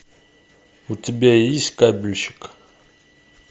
у тебя есть кабельщик